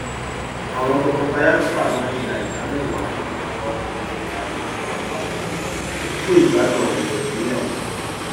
àwọn tọkọtaya sábà máa ń yà ìdá mẹwàá nínú ọgọọrún ti ìlànà isúná àpapọ wọn fún ìgbádùn ayẹyẹ ìgbéyàwó